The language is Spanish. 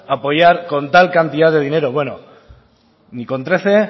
apoyar con tal cantidad de dinero bueno ni con trece